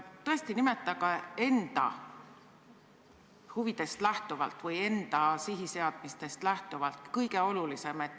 Palun nimetage enda huvidest lähtuvalt või enda sihiseadmistest lähtuvalt kõige olulisem probleem!